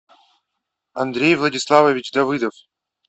андрей владиславович давыдов